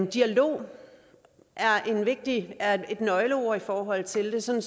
dialog er et nøgleord i forhold til det sådan